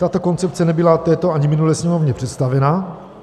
Tato koncepce nebyla této ani minulé Sněmovně představena.